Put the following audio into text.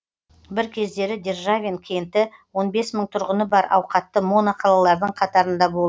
бір кездері державин кенті он бес мың тұрғыны бар ауқатты моно қалалардың қатарында болды